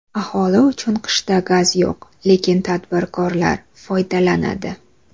Aholi uchun qishda gaz yo‘q, lekin tadbirkorlar foydalanadi.